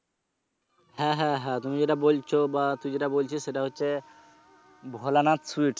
হ্যা হ্যা তুমি যেটা বলছো বা তুই যেটা বলছিস সেটা হচ্ছে ভোলানাথ sweets